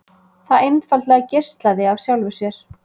Það einfaldlega geislaði af sjálfu sér.